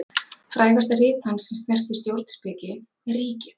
Frægasta rit hans sem snertir stjórnspeki er Ríkið.